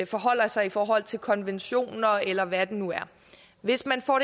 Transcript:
forholder sig i forhold til konventioner eller hvad det nu er hvis man får